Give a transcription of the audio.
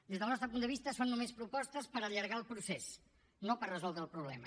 des del nostre punt de vista són només propostes per allargar el procés no per resoldre el problema